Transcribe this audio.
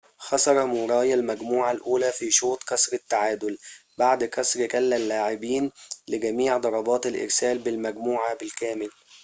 خسر موراي المجموعة الأولى في شوط كسر التعادل بعد كسر كلا اللاعبين لجميع ضربات الإرسال بالمجموعة بالكامل